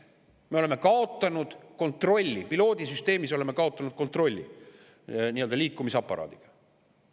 Me oleme kaotanud kontrolli, piloodisüsteemis oleme kaotanud kontrolli liikumisaparaadi üle.